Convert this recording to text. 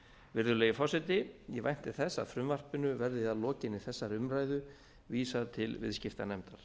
virðulegi forseti ég vænti þess að frumvarpinu verði að lokinni þessari umræðu vísað til viðskiptanefndar